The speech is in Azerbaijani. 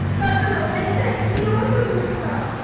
"Qadan alım, Məmməd, niyə oturmursan?"